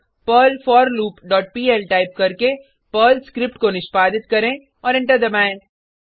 अब Perl forloop dot PL type करके Perl script को निष्पादित करें और एंटर दबाएँ